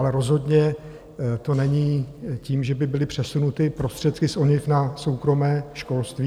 Ale rozhodně to není tím, že by byly přesunuty prostředky z ONIV na soukromé školství.